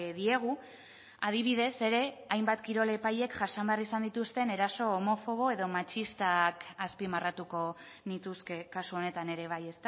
diegu adibidez ere hainbat kirol epailek jasan behar izan dituzten eraso homofobo edo matxistak azpimarratuko nituzke kasu honetan ere bai